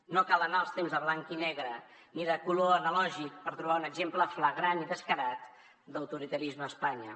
no cal anar als temps de blanc i negre ni de color analògic per trobar un exemple flagrant i descarat d’autoritarisme a espanya